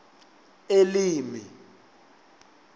elimi